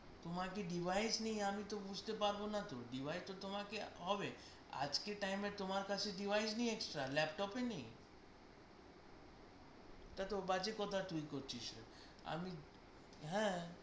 তোমার কি device নেই আমি তো বুজতে পারবো না তো, device তো তোমাকে হবে, আজকে time এ তোমার কাছে device নেই extra laptop নেই এটা তো বাজে কথা তুই করছিস রে, আমি হ্যাঁ